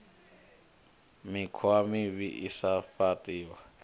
mikhwa mivhi i sa fhaṱiho